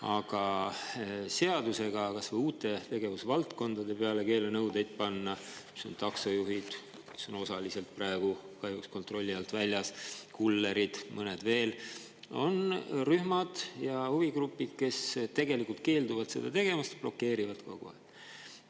Aga seadusega kas või uutele tegevusvaldkondadele keelenõudeid panna: on taksojuhid, kes on praegu osaliselt kahjuks kontrolli alt väljas, kullerid, mõned rühmad ja huvigrupid veel, kes tegelikult keelduvad seda tegemast, blokeerivad kogu aeg.